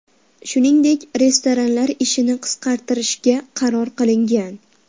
Shuningdek, restoranlar ishini qisqartirishga qaror qilingan.